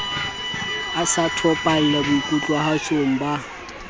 a sa topalla boikutlwahatsong ba